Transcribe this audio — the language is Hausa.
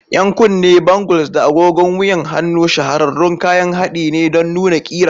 Yan kunne, bangles, da agogon wuyan hannu shahararrun kayan haɗi ne don nuna ƙira.